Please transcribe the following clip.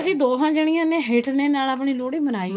ਅਸੀਂ ਦੋਨਾ ਜਾਣੀਆਂ ਨੇ ਹੇਠਲੇ ਨਾਲ ਅਓਨੀ ਲੋਹੜੀ ਮਨਾਈ